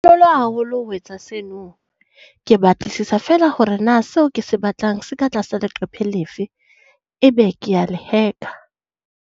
Haholo ho etsa seno. Ke batlisisa fela hore na seo ke se batlang se ka tlasa leqephe lefe ebe kea le .